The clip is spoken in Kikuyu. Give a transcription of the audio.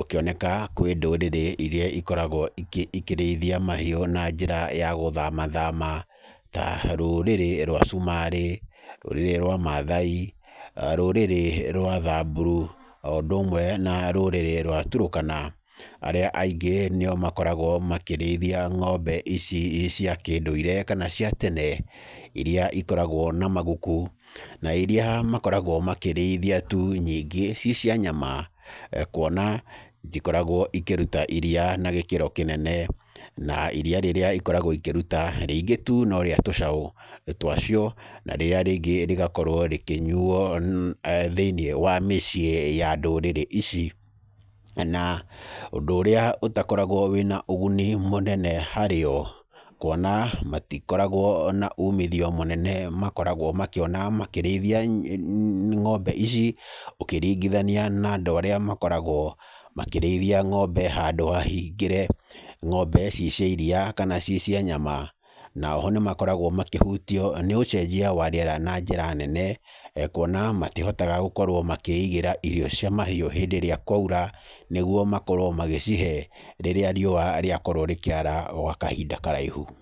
ũkĩoneka kũrĩ ndũrĩrĩ iria ikoragwo ikĩrĩithia mahiũ na njĩra ya gũthamathama ta rũrĩrĩ rwa cumarĩ, rũrĩrĩ rwa maathai, rũrĩrĩ rwa thamburu o ũndũ ũmwe na rũrĩrĩ rwa turukana. Arĩa aingĩ nĩ arĩa makoragwo makĩrĩithia ng'ombe ici cia kĩndũire kana cia tene iria ikoragwo na maguku na iria makoragwo makĩrĩithia nyingĩ ciĩ cia nyama. Kuona itikoragwo ikĩruta iriya na gĩkĩro kĩnene na iriya rĩrĩa ikoragwo ikĩruta rĩingĩ tu no rĩa tũcaũ twacio, na rĩrĩa rĩngĩ rĩgakorwo rĩkĩnyuo thĩinĩ wa mĩciĩ ya ndũrĩrĩ ici. Na ũndũ ũrĩa ũtakoragwo ũrĩ na ũguni mũnene harĩo kuona matikoragwo na umithio mũnene makoragwo makĩona makĩrĩithia ng'ombe, ici ũkĩringithania na andũ arĩa makoragwo makĩrĩithia ng'ombe handũ hahingĩre, ng'ombe ciĩ cia iriya kana cirĩ cia nyama. Na oho nĩmakoragwo makĩhutio nĩ ũcenjia wa rĩera na njĩra nene kuona matihotaga gũkorwo makĩigĩra irio cia mahiũ hĩndĩ ĩrĩa kwaura nĩguo makorwo magĩcihe rĩrĩa riũwa rĩakorwo rĩkĩara gwa kahinda karaihu.